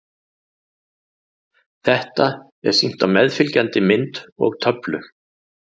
Þetta er sýnt á meðfylgjandi mynd og töflu.